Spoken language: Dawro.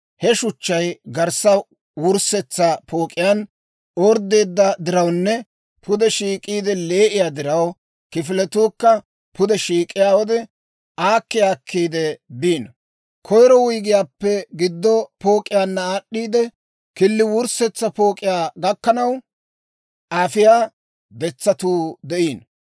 He shuchchay garssa wurssetsa pook'iyaan orddeedda dirawunne pude shiik'iidde lee'iyaa diraw, kifiletuukka pude shiik'iyaa wode, aakki aakkiide biino. Koyiro wuyggiyaappe giddo pook'iyaanna aad'd'iidde, killi wurssetsa pook'iyaa gakkanaw afiyaa detsatuu de'iino.